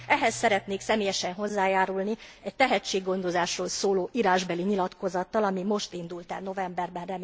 Ehhez szeretnék személyesen hozzájárulni a tehetséggondozásról szóló írásbeli nyilatkozattal, ami most indult el novemberben.